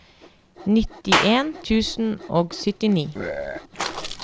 nittien tusen og syttini